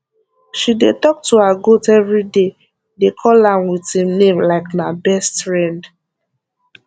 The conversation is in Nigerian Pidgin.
she dey talk to her goat everyday dey call am with im name like na best riend